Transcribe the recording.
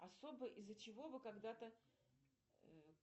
особо из за чего вы когда то